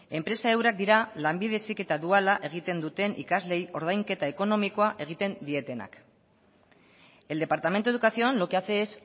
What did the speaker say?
enpresa eurak dira lanbide heziketa duala egiten duten ikasleei ordainketa ekonomikoa egiten dietenak el departamento de educación lo que hace es